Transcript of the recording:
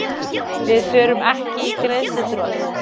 Við förum ekki í greiðsluþrot